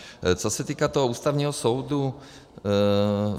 Co se týká toho Ústavního soudu.